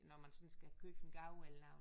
Når man sådan skal købe en gave eller